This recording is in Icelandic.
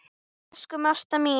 Elsku Marta mín.